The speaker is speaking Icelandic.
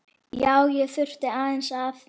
Já, ég þurfti aðeins að.